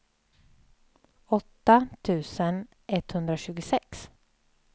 åtta tusen etthundratjugosex